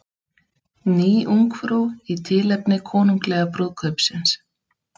Ný Ungfrú í tilefni konunglega brúðkaupsins